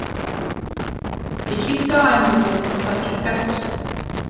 Ég kíkti á æfingu hjá þeim og það gekk eftir.